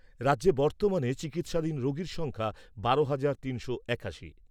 রাজ্যে বর্তমানে চিকিৎসাধীন রোগীর সংখ্যা বারো হাজার তিনশো একাশি।